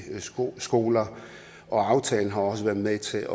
skoler skoler og aftalen har også været med til